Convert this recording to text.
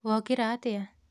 Wokĩra atĩa?